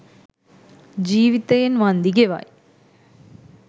ජීවිතයෙන් වන්දි ගෙවයි.